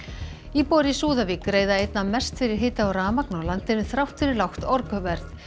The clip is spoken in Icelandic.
íbúar í Súðavík greiða einna mest fyrir hita og rafmagn á landinu þrátt fyrir lágt orkuverð